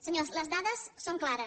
senyors les dades són clares